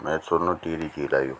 मैं सुनु टिहरी झील अयुँ।